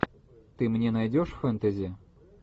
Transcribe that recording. ты мне найдешь фэнтези